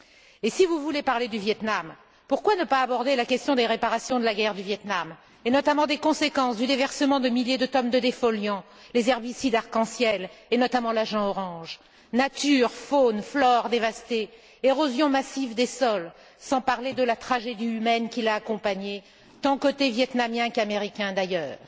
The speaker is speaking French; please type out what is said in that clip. Et si vous voulez parler du Viêt Nam, pourquoi ne pas aborder la question des réparations de la guerre du Viêt Nam, et notamment des conséquences du déversement de milliers de tonnes de défoliants, les herbicides arc en ciel, et notamment l'agent orange nature, faune, flore dévastées, érosion massive des sols, sans parler de la tragédie humaine, tant côté vietnamien qu'américain d'ailleurs.